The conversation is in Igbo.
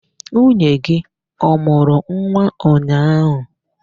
Nwunye gị ọ mụrụ nwa ụnyaahụ?